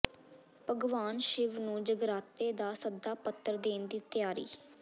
ਭਗਵਾਨ ਸ਼ਿਵ ਨੂੰ ਜਗਰਾਤੇ ਦਾ ਸੱਦਾ ਪੱਤਰ ਦੇਣ ਦੀ ਤਿਆਰੀ